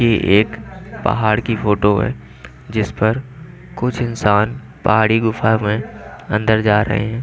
एक पहाड़ की फोटो है जिस पर कुछ इंसान पहाड़ी गुफा में अंदर जा रहे हैं।